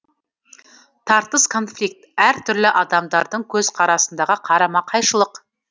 тартыс конфликт әр түрлі адамдардың көзқарасындағы қарама қайшылық